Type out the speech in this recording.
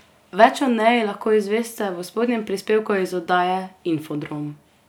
Več o Neji lahko izveste v spodnjem prispevku iz oddaje Infodrom.